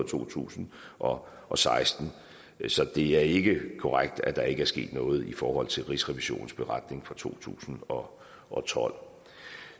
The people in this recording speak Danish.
to tusind og og seksten så det er ikke korrekt at der ikke er sket noget i forhold til rigsrevisionens beretning for to tusind og tolv